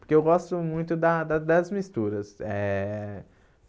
Porque eu gosto muito da da das misturas.